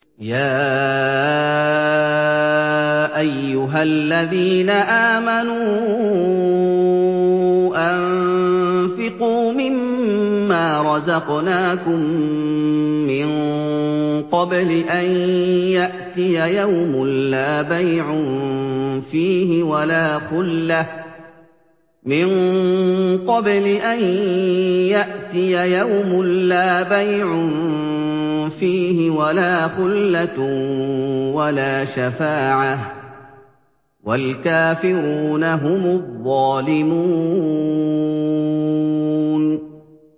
يَا أَيُّهَا الَّذِينَ آمَنُوا أَنفِقُوا مِمَّا رَزَقْنَاكُم مِّن قَبْلِ أَن يَأْتِيَ يَوْمٌ لَّا بَيْعٌ فِيهِ وَلَا خُلَّةٌ وَلَا شَفَاعَةٌ ۗ وَالْكَافِرُونَ هُمُ الظَّالِمُونَ